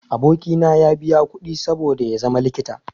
Aboki na ya biya kuɗi saboda ya zama likita.